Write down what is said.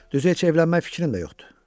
Düzü heç evlənmək fikrim də yoxdur.